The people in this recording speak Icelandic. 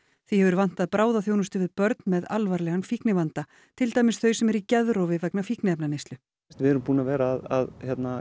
því hefur vantað bráðaþjónustu við börn með alvarlegan fíknivanda til dæmis þau sem eru í geðrofi vegna fíkniefnaneyslu við erum búin að vera að